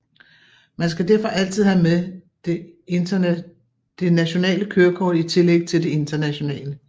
Man skal derfor altid have med det nationale kørekort i tillæg til det internationale